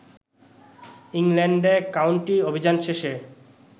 ইংল্যান্ডে কাউন্টি অভিযান শেষে